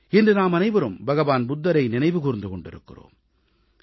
இன்று நாமனைவரும் புத்தபிரானை நினைவு கூர்ந்து கொண்டிருக்கிறோம்